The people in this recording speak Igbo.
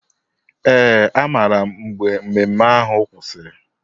Ee, amaara m mgbe ememe ahụ kwụsịrị.